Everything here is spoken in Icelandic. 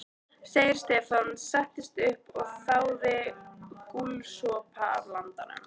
Stefán settist upp og þáði gúlsopa af landanum.